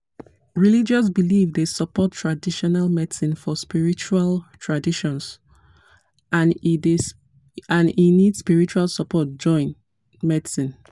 religious belief dey support traditional medicine for spiritual traditions and e need spiritual support join medicine.